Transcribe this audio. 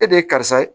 E de ye karisa ye